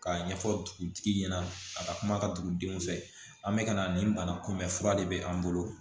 K'a ɲɛfɔ dugutigi ɲɛna a ka kuma ka dugu denw fɛ an bɛ ka na nin banakunbɛn fura de bɛ an bolo